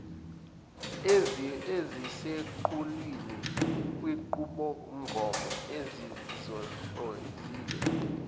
eziseqhulwini kwinqubomgomo esizihlonzile